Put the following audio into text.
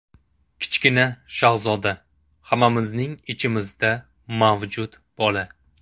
Kichkina shahzoda – hammamizning ichimizda mavjud bola.